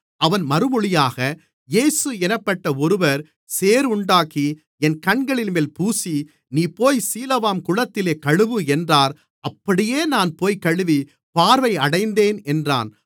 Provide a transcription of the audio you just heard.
அவன் மறுமொழியாக இயேசு என்னப்பட்ட ஒருவர் சேறுண்டாக்கி என் கண்களின்மேல் பூசி நீ போய் சீலோவாம் குளத்திலே கழுவு என்றார் அப்படியே நான் போய்க் கழுவி பார்வை அடைந்தேன் என்றான்